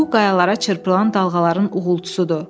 bu qayalara çırpılan dalğaların uğultusudur.